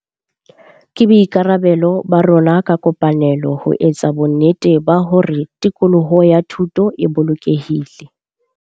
Ke boikarabelo ba rona ka kopanelo ho etsa bonnete ba hore tikoloho ya thuto e bolokehile.